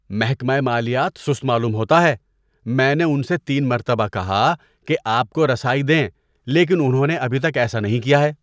محکمہ مالیات سست معلوم ہوتا ہے۔ میں نے ان سے تین مرتبہ کہا کہ آپ کو رسائی دیں لیکن انہوں نے ابھی تک ایسا نہیں کیا ہے۔